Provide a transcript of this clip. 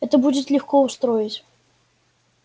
это будет легко устроить